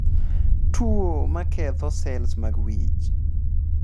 tuo maketho sels mag wich